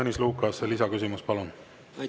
Tõnis Lukas, lisaküsimus, palun!